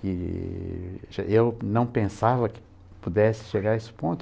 que eu não pensava que pudesse chegar a esse ponto.